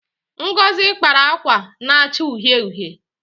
Ngozi kpara akwa na-acha uhie uhie.